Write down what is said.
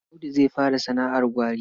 Audu zai fara sana'ar gwari.